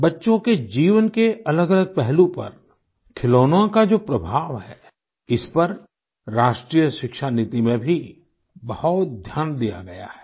बच्चों के जीवन के अलगअलग पहलू पर खिलौनों का जो प्रभाव है इस पर राष्ट्रीय शिक्षा नीति में भी बहुत ध्यान दिया गया है